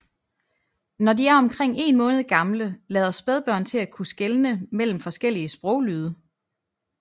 Når de er omkring en måned gamle lader spædbørn til at kunne skelne mellem forskellige sproglyde